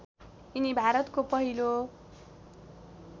यिनी भारतको पहिलो